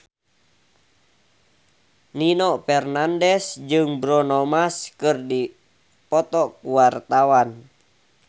Nino Fernandez jeung Bruno Mars keur dipoto ku wartawan